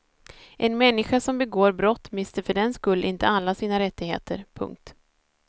En människa som begår brott mister för den skull inte alla sina rättigheter. punkt